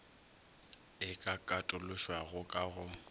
e ka katološwago ka go